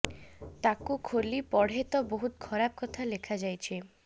ତାକୁ ଖୋଲି ପଢ଼େ ତ ବହୁତ ଖରାପ କଥା ଲେଖାଯାଇଛି